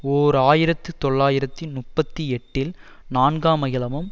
ஓர் ஆயிரத்து தொள்ளாயிரத்தி முப்பத்தி எட்டில் நான்காம் அகிலமும்